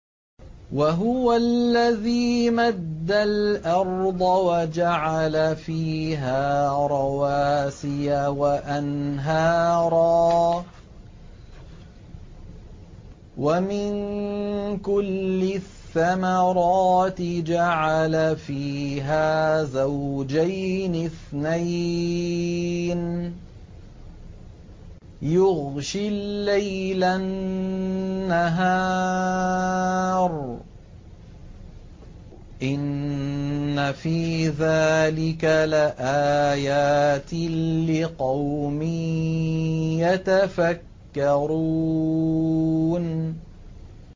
وَهُوَ الَّذِي مَدَّ الْأَرْضَ وَجَعَلَ فِيهَا رَوَاسِيَ وَأَنْهَارًا ۖ وَمِن كُلِّ الثَّمَرَاتِ جَعَلَ فِيهَا زَوْجَيْنِ اثْنَيْنِ ۖ يُغْشِي اللَّيْلَ النَّهَارَ ۚ إِنَّ فِي ذَٰلِكَ لَآيَاتٍ لِّقَوْمٍ يَتَفَكَّرُونَ